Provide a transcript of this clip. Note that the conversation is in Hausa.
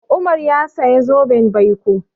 Umar ya saya zoben baiko.